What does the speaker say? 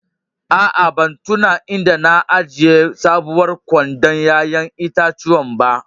Aa, ban tunna inda na ajia sabowar kwandon yayan itatuwan ba.